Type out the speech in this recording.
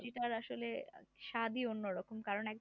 সবজির টার আসলে স্বাদই অন্যরকম, কারণ এক